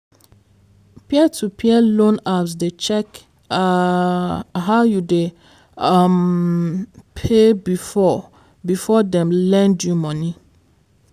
peer to peer loan apps dey check um how you dey um pay before before dem lend you money.